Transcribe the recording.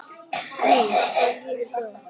Jú, það líður hjá.